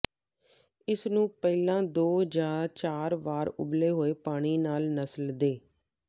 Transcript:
ਇਸ ਨੂੰ ਪਹਿਲਾਂ ਦੋ ਜਾਂ ਚਾਰ ਵਾਰ ਉਬਲੇ ਹੋਏ ਪਾਣੀ ਨਾਲ ਨਸਲ ਦੇ